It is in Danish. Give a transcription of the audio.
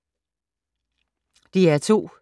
DR2